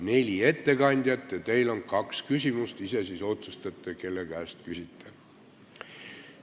Neli ettekandjat ja teil on kaks küsimust – ise otsustate, kelle käest küsite.